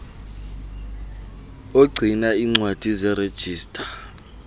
ogcina iincwadi zerejista